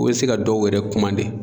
O be se ka dɔw yɛrɛ komande